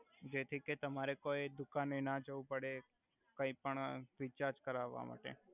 જેથી કે તમારે કોઈ દુકાને ના જવુ પડે કાઈ પણ રિચાર્જ કરાવા માટે